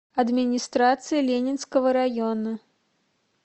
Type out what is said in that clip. администрация ленинского района